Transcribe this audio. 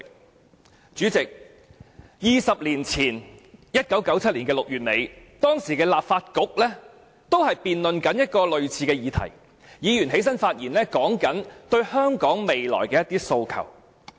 代理主席 ，20 年前在1997年6月底，當時的立法局也在辯論類似議題，議員說出對香港未來的一些訴求。